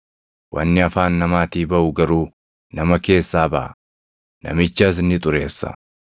Wanni afaan namaatii baʼu garuu nama keessaa baʼa; namichas ni xureessa.